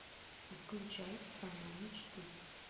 включай страна мечты